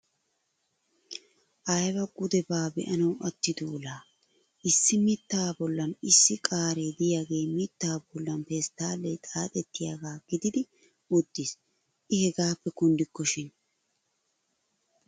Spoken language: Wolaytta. Aybaa gudebaa be'anawu attido laa! Issi mittaa bollan issi qaare de'iyagee mittaa bollan pesttaallee xaaxettiyagaa gididi uttiis. I hegaappe kunddikkoshin!